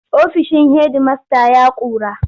Ofishin hedimasta ya ƙura.